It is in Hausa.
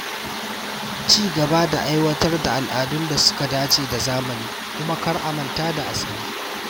Ci gaba da aiwatar da al’adun da suka dace da zamani kuma kar a manta da asali.